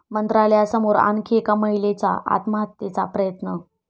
मंत्रालयासमोर आणखी एका महिलेचा आत्महत्येचा प्रयत्न